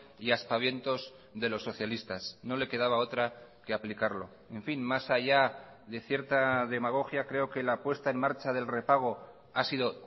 y aspavientos de los socialistas no le quedaba otra que aplicarlo en fin más allá de cierta demagogia creo que la puesta en marcha del repago ha sido